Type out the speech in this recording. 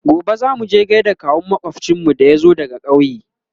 gobe zamuje gaida kawun makwafcinmu da ya zo daga ƙauye